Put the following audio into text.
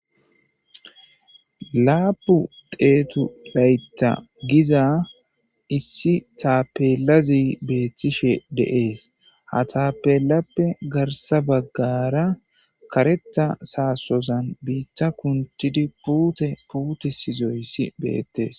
laapu deetu layta giza issi taapelazi beettishe deees ha taapelappe garsa baggara karetta saasozan biitta kuntidi puute puute sizoyssi beettes